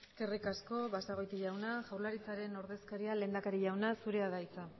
eskerrik asko basagoiti jauna jaurlaritzaren ordezkaria lehendakari jauna zurea da hitza